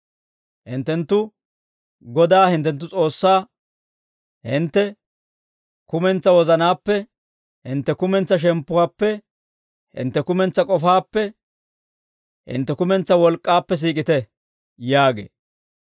Hinttenttu Godaa hintte S'oossaa hintte kumentsaa wozanaappe, hintte kumentsaa shemppuwaappe, hintte kumentsaa k'ofaappe, hintte kumentsaa wolk'k'aappe siik'ite› yaagee.